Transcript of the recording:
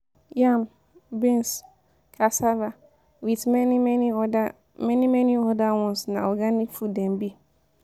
Yam, beans, cassava with many many other many many other ones na organic food dem be.